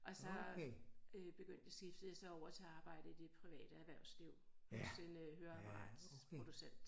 og så øh begyndte skiftede jeg så over til arbejde ovre i det private erhvervsliv hos en øh høreapparatproducent